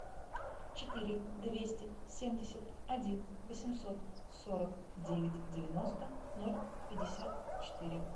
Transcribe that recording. четыре двести семьдесят один восемьсот сорок девять девяносто ноль пятьдесят четыре